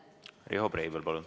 Riho Breivel, palun!